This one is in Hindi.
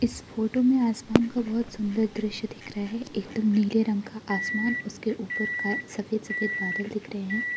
इस फोटो में आसमान का बहुत सुंदर दृश्य दिख रहा है एकदम नीले रंग का आसमान उसके ऊपर का सफेद सफेद बादल दिख रहे हैं।